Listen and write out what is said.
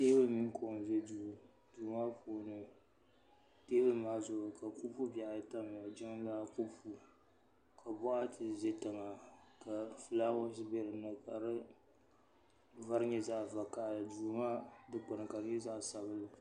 teebuli mini kuɣu n ʒɛ duu maa puuni teebuli maa zuɣu ka kɔpu bihi ayi tamya ni jiŋlaa kɔpu ka boɣati ʒɛ tiŋa ka fulaawaasi bɛ dinni ka di vari nyɛ zaɣ vakaɣali duu maa dikpuni ka di nyɛ zaɣ sabinli